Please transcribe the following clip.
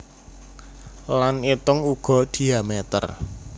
Lan itung uga diamètér